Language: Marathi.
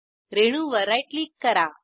रेणूवर राईट क्लिक करा